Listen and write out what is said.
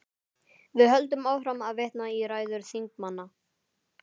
Við höldum áfram að vitna í ræður þingmanna.